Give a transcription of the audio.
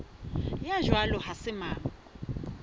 ya jwalo ha se mang